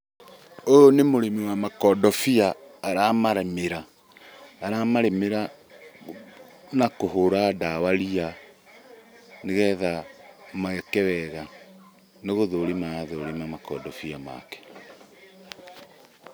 Ũyũ nĩ mũrĩmi wa makondobia, aramarĩmĩra na kũhũra ndawa ria nĩgetha meke wega. Nĩ gũthũrima arathũrima makondobia make.